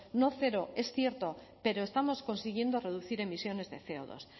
no cero es cierto pero estamos consiguiendo reducir emisiones de ce o dos